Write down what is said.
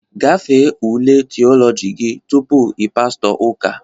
Gafee ule Theology gị tupu ị pastọ ụka!